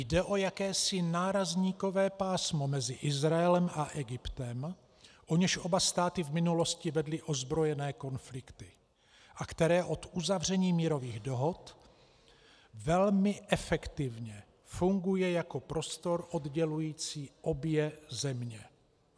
Jde o jakési nárazníkové pásmo mezi Izraelem a Egyptem, o něž oba státy v minulosti vedly ozbrojené konflikty a které od uzavření mírových dohod velmi efektivně funguje jako prostor oddělující obě země."